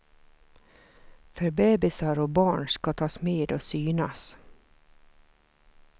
För bebisar och barn ska tas med och synas.